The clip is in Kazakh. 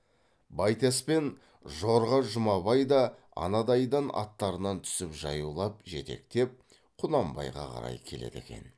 байтас пен жорға жұмабай да анадайдан аттарынан түсіп жаяулап жетектеп құнанбайға қарай келеді екен